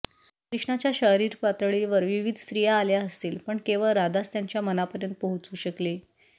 कृष्णाच्या शारीर पातळीपर्यंत विविध स्त्रिया आल्या असतील पण केवळ राधाच त्याच्या मनापर्यंत पोहोचू शकली